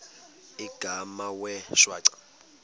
igama wee shwaca